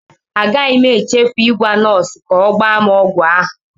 Agaghị m echefu ịgwa nọọsụ ka o gba m ọgwụ ahụ.